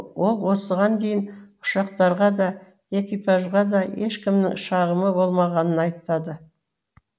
ол осыған дейін ұшақтарға да экипажға да ешкімнің шағымы болмағанын айтады